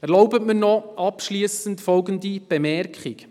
Erlauben Sie mir abschliessend noch folgende Bemerkung: